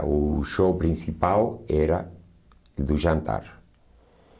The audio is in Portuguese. O show principal era do jantar.